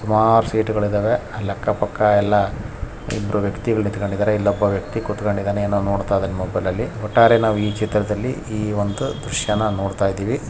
ಸುಮಾರು ಸೀಟ್ ಗಳು ಇದವೆ ಅಲ್ಲಿ ಅಕ್ಕ ಪಕ್ಕ ಎಲ್ಲ ಇಬ್ಬರು ವ್ಯಕ್ತಿಗಳು ನಿಂತುಕೊಂಡಿದ್ದಾರೆ ಇಲ್ಲಿ ಒಬ್ಬ ವ್ಯಕ್ತಿ ಕುತುಕೊಂಡಿದ್ದಾನೆ ಏನೋ ನೋಡತದನೆ ಫೋನ್ ನಲ್ಲಿ ಒಟ್ಟಾರೆ ಈ ಚಿತ್ರದಲ್ಲಿ ಈ ಒಂದು ದೃಶ್ಯ ನೋಡತಾಯಿದಿವಿ.